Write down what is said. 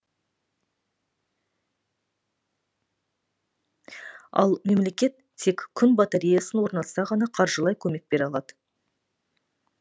ал мемлекет тек күн батареясын орнатса ғана қаржылай көмек бере алады